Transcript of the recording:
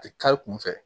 A tɛ kari kun fɛ